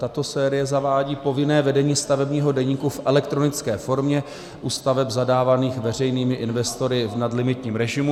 Tato série zavádí povinné vedení stavebního deníku v elektronické formě u staveb zadávaných veřejnými investory v nadlimitním režimu.